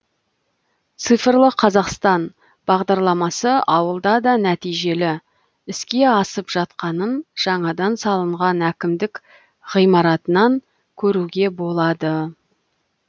цифрлы қазақстан бағдарламасы ауылда да нәтижелі іске асып жатқанын жаңадан салынған әкімдік ғимаратынан көруге болады